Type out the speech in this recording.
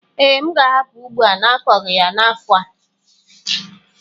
Ee, m ga-ahapụ ugbo a n'akọghi ya n'afọ a.